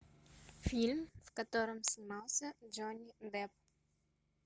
фильм в котором снимался джонни депп